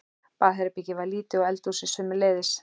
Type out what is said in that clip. Baðherbergið var lítið og eldhúsið sömuleiðis.